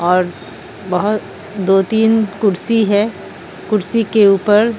और बहोत दो तीन कुर्सी है कुर्सी के ऊपर--